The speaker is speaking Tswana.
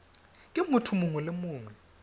ke motho mongwe le mongwe